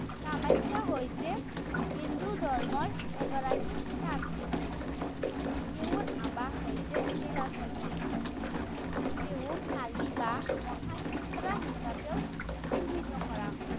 কামাখ্যা হৈছে হিন্দু ধৰ্মৰ এগৰাকী তান্ত্ৰিক দেৱী। তেওঁৰ আবাস হৈছে নীলাচল পাহাৰ। তেওঁ কালী বা মহাল-ত্ৰিপুৰা হিচাপেও চিহ্নিত কৰা হয়।